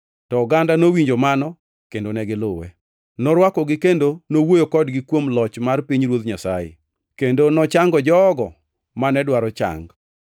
to oganda nowinjo mano kendo ne giluwe. Norwakogi kendo nowuoyo kodgi kuom loch mar pinyruoth Nyasaye, kendo nochango jogo mane dwaro chang.